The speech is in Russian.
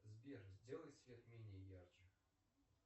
сбер сделай свет менее ярче